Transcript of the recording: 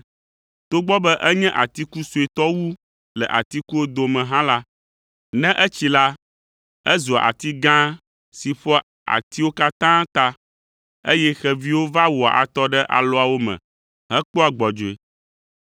Togbɔ be enye atiku suetɔ wu le atikuwo dome hã la, ne etsi la, ezua ati gã si ƒoa atiwo katã ta, eye xeviwo va wɔa atɔ ɖe alɔawo me hekpɔa gbɔdzɔe.”